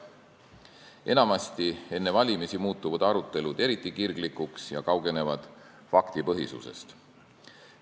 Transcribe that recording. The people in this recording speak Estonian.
Enamasti muutuvad arutelud enne valimisi eriti kirglikuks ja kaugenevad faktipõhisusest.